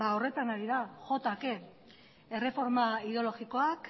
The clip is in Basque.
horretan ari da jo ta ke erreforma ideologikoak